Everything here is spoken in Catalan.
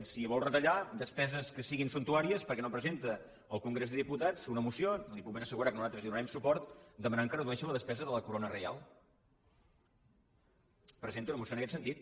si vol retallar despeses que siguin sumptuàries per què no presenta al congrés dels diputats una moció li puc ben assegurar que nosaltres hi donarem suport demanant que es redueixi la despesa de la corona reial presenti una moció en aquest sentit